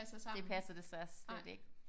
Det passer desværre slet ikke